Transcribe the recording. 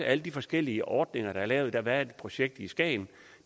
alle de forskellige ordninger der er lavet der har været et projekt i skagen